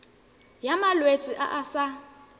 ya malwetse a a sa